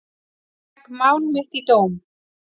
Ég legg mál mitt í dóm.